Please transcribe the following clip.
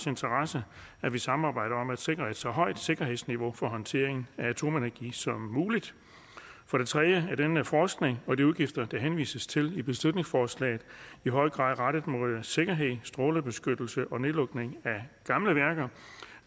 interesse at vi samarbejder om at sikre et så højt sikkerhedsniveau for håndteringen af atomenergi som muligt for det tredje er det med forskning og de udgifter der henvises til i beslutningsforslaget i høj grad rettet mod sikkerhed strålebeskyttelse og nedlukning af gamle værker